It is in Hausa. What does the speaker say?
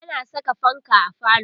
ana Saka fanka a falo